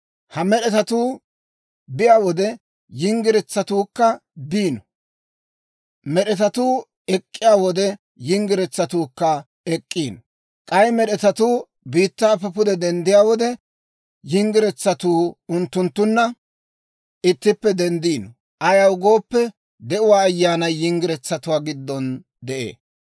Ha med'etatuu biyaa wode, yinggiretsatuukka biino; med'etatuu ek'k'iyaa wode, yinggiretsatuukka ek'k'iino; k'ay med'etatuu biittaappe pude denddiyaa wode, yinggiretsatuu unttunttunna ittippe denddiino. Ayaw gooppe, De'uwaa Ayyaanay yinggiretsatuwaa giddon de'ee.